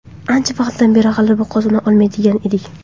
Ancha vaqtdan beri g‘alaba qozona olmayotgan edik.